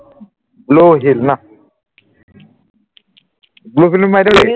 blue whale ন blue whale বুলি দিও নে